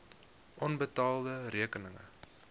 onbetaalde rekeninge